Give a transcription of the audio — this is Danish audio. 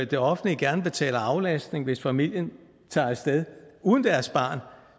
det offentlige gerne betaler aflastning hvis familien tager af sted uden deres barn